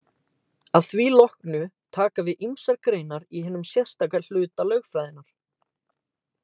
Að því loknu taka við ýmsar greinar í hinum sérstaka hluta lögfræðinnar.